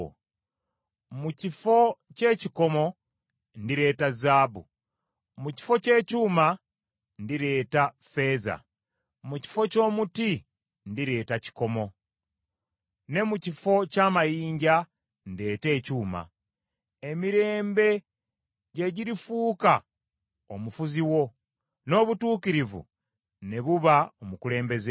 Mu kifo ky’ekikomo ndireeta zaabu, mu kifo ky’ekyuma ndireeta effeeza, mu kifo ky’omuti ndireeta kikomo, ne mu kifo ky’amayinja ndeete ekyuma. Emirembe gye girifuuka omufuzi wo n’obutuukirivu ne buba omukulembeze wo.